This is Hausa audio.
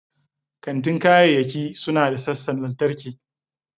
Kantin kayayyaki suna da sassan lantarki.